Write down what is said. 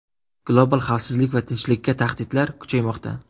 Global xavfsizlik va tinchlikka tahdidlar kuchaymoqda.